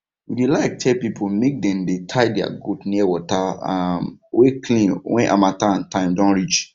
we dey like tell pipo make dem dey tie their goats near water um wey clean wen harmattan time don reach